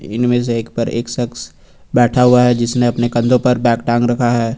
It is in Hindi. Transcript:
इनमें से एक पर एक शख्स बैठा हुआ है जिसने अपने कंधों पर बैग टांग रखा है।